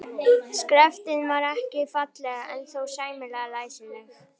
Skriftin var ekki falleg en þó sæmilega læsileg.